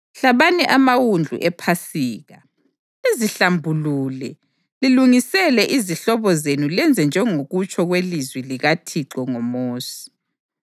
Hlabani amawundlu ePhasika, lizihlambulule lilungisele izihlobo zenu lenze njengokutsho kwelizwi likaThixo ngoMosi.”